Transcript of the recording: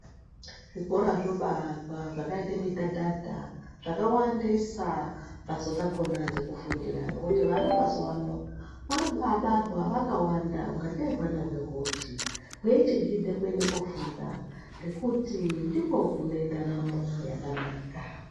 Zvikora zvobaakwa zvakaite midhadhadha ,zvakawandisa mbatso dzakhona dzekufundira ngekuti vana mazuwaano ,vari kubaabarwa vakawanda ungatei hwana hwehochi, hweichigidhe kuende kofunda ngekuti ndikwo kune ndaramo yakanaka.